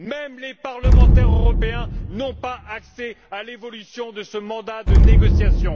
Même les parlementaires européens n'ont pas accès à l'évolution de ce mandat de négociation.